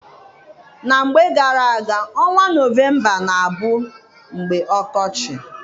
Na mgbe gara-aga, ọnwa November na-abụ mgbe ọkọchị.